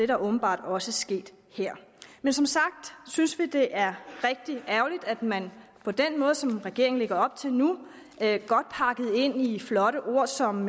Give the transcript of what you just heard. der åbenbart også sket her men som sagt synes vi det er rigtig ærgerligt at man på den måde som regeringen lægger op til nu godt pakket ind i flotte ord som